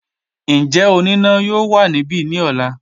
Njẹ onina yoo wa nibi ni ọla?